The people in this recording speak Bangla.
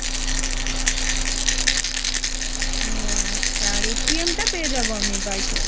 ওহ, আচ্ছা আর টা পেয়ে যাবো আমি by post ?